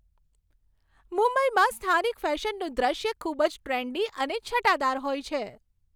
મુંબઈમાં સ્થાનિક ફેશનનું દ્રશ્ય ખૂબ જ ટ્રેન્ડી અને છટાદાર હોય છે.